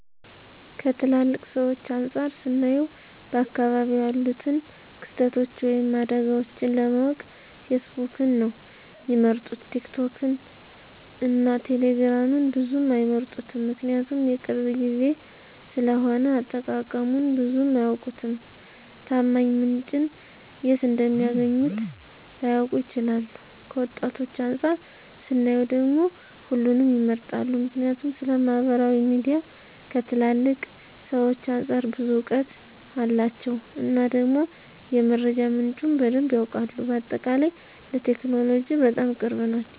ከትላልቅ ሰዎች አንፃር ስናየው በአካባቢው ያሉትን ክስተቶች ወይም አደጋዎችን ለማወቅ ፌስቡክን ነው ሚመርጡት ቲክቶክን እና ቴሌግራምን ብዙም አይመርጡትም ምክንያቱም የቅርብ ጊዜ ስለሆነ አጠቃቀሙን ብዙም አያውቁትም፣ ታማኝ ምንጭን የት እንደሚያገኙት ላያውቁ ይችላሉ። ከወጣቶች አንፃር ስናየው ደግሞ ሁሉንም ይመርጣሉ ምክንያቱም ስለማህበራዊ ሚዲያ ከትላልቅ ሰዎች አንፃር ብዙ እውቀት አላቸው እና ደግሞ የመረጃ ምንጩም በደንብ ያውቃሉ። በአጠቃላይ ለቴክኖሎጂ በጣም ቅርብ ናቸው